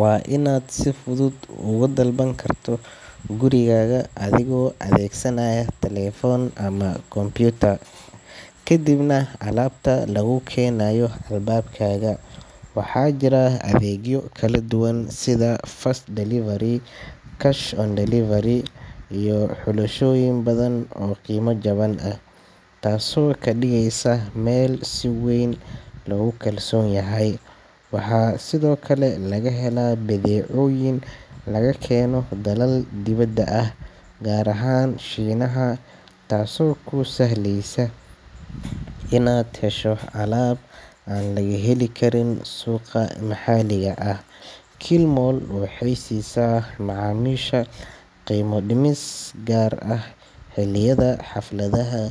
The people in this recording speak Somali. waa inaad si fudud uga dalban karto gurigaaga adoo adeegsanaya taleefan ama computer, kadibna alaabta laguu keenayo albaabkaaga. Waxaa jira adeegyo kala duwan sida fast delivery, cash on delivery iyo xulashooyin badan oo qiimo jaban ah, taasoo ka dhigeysa meel si weyn loogu kalsoon yahay. Waxaa sidoo kale laga helaa badeecooyin laga keeno dalal dibadda ah, gaar ahaan Shiinaha, taasoo kuu sahlaysa inaad hesho alaab aan laga heli karin suuqa maxalliga ah. Kilimall waxay siisaa macaamiisha qiimo dhimis gaar ah xilliyada xafladaha.